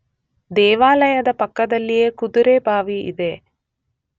ದೇವಾಲಯದ ಪಕ್ಕದಲ್ಲಿಯೇ ಕುದುರೆಬಾವಿ ಇದೆ.